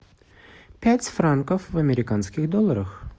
пять франков в американских долларах